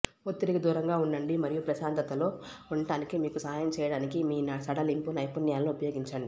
ఒత్తిడికి దూరంగా ఉండండి మరియు ప్రశాంతతలో ఉండటానికి మీకు సహాయం చేయడానికి మీ సడలింపు నైపుణ్యాలను ఉపయోగించండి